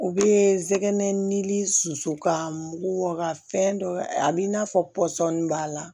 U bɛ sɛgɛn ni susu ka mugu bɔ ka fɛn dɔ a b'i n'a fɔ pɔsɔni b'a la